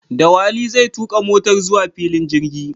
Dawali zai tuka motar zuwa filin jirgi.